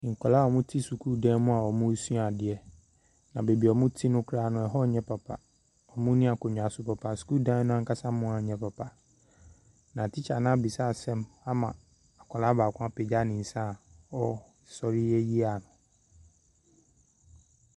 Nkwaraa a wɔte sukuudan mu a wɔresua adeɛ. Na baabi wɔte no koraa ɛhɔ nyɛ papa. Wɔnni akonnwa nso papa. Sukuudan anka mu ayɛ papa. Na tikya no abisa asɛm ama akwaraa baako apegya ne nsa a resɔre ayi ano.